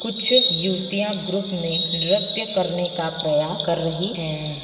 कुछ युवतियां ग्रुप में नृत्य करने का प्रयास कर रही हैं।